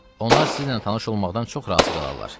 Onlar sizinlə tanış olmaqdan çox razı qalarlar.